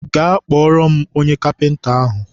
gaa kpọrọ m onye kapịnta ahụ!